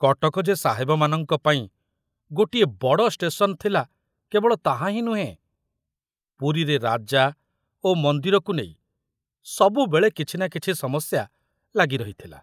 କଟକ ଯେ ସାହେବମାନଙ୍କ ପାଇଁ ଗୋଟିଏ ବଡ଼ ' ଷ୍ଟେସନ ' ଥିଲା କେବଳ ତାହାହିଁ ନୁହେଁ, ପୁରୀରେ ରାଜା ଓ ମନ୍ଦିରକୁ ନେଇ ସବୁବେଳେ କିଛି ନା କିଛି ସମସ୍ୟା ଲାଗି ରହିଥିଲା।